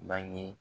Bange